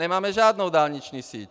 Nemáme žádnou dálniční síť!